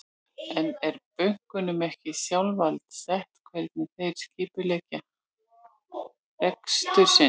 En er bönkunum ekki sjálfsvald sett hvernig þeir skipuleggja rekstur sinn?